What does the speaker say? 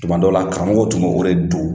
Tumadɔ la karamɔgɔ tun bɛ wele Do